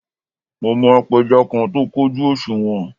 Mo mọ apẹja kan tó kójú òṣùwọ̀n